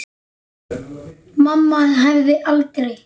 Mamma hefði aldrei.